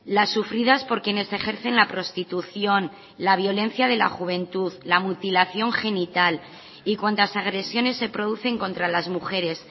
las sufridas por quienes ejercen la prostitución la violencia de la juventud la mutilación genital y cuantas agresiones se producen contra las mujeres